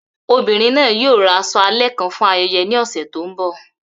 Obinrin naa yoo ra aṣọ alẹ kan fun ayẹyẹ ni ọsẹ to nbọ